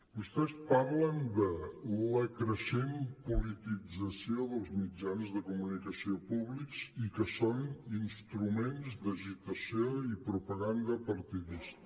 vostès parlen de la creixent politització dels mitjans de comunicació públics i que són instru·ments d’agitació i propaganda partidista